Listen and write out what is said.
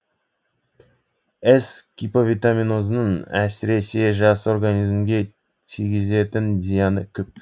эс гиповитаминозының әсіресе жас организмге тигізетін зияны көп